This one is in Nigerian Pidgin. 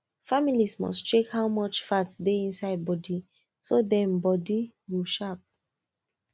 family must check how much fat dey inside food so dem body go sharp